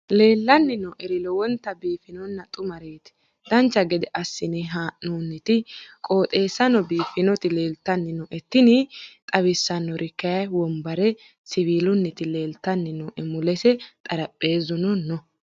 leellanni nooeri lowonta biiffinonna xumareeti dancha gede assine haa'noonniti qooxeessano biiffinoti leeltanni nooe tini xawissannori kayi wombare siwiilunniti leeltanni nooe mulese xarapheezuno no.